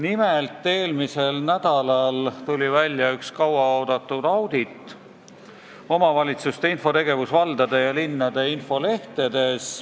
Nimelt tuli eelmisel nädalal välja üks kaua oodatud audit "Omavalitsuste teavitustegevus valdade ja linnade infolehtedes".